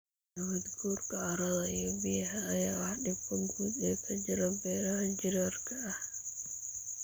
Nabaad guurka carrada iyo biyaha ayaa ah dhibka guud ee ka jira beeraha jiirarka ah.